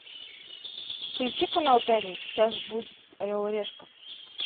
включи канал пятница сейчас будет орел и решка